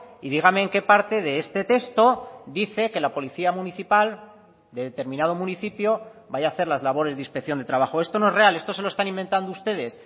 y dígame en qué parte de este texto dice que la policía municipal de determinado municipio vaya a hacer las labores de inspección de trabajo esto no es real esto se lo están inventando ustedes